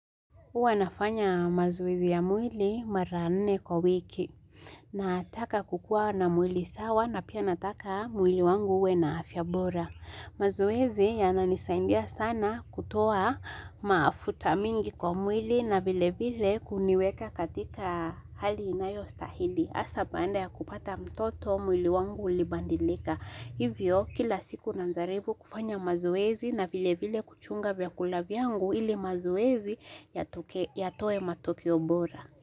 Huwa nafanya mazoezi ya mwili mara nne kwa wiki. Nataka kukua na mwili sawa na pia nataka mwili wangu uwe na afya bora. Mazoezi yananisaindia sana kutoa maafuta mingi kwa mwili na vile vile kuniweka katika hali inayo stahili. Hsa baanda ya kupata mtoto mwili wangu ulibandilika. Hivyo kila siku nanjaribu kufanya mazoezi na vile vile kuchunga vyakula vyangu ili mazoezi yatoe matokeo bora.